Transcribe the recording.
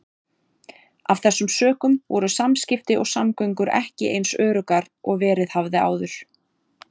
Af þessum sökum voru samskipti og samgöngur ekki eins öruggar og verið hafði áður.